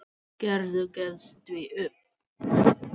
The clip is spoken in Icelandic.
Gerður gefst því upp.